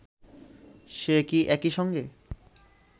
সে কি একই সঙ্গে